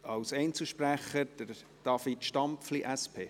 Als Einzelsprecher David Stampfli, SP.